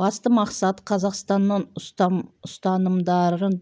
басты мақсат қазақстанның ұстанымдарын